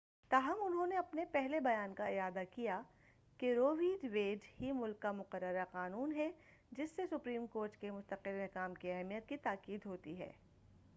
تاہم انہوں نے اپنے پہلے بیان کا اعادہ کیا کہ رو وی ویڈ ہی ملک کا مقررہ قانون ہے جس سے سپریم کورٹ کے مستقل احکام کی اہمیت کی تاکید ہوتی ہے